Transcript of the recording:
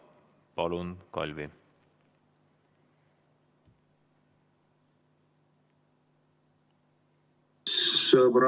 Palun, Kalvi!